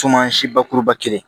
si bakuruba kelen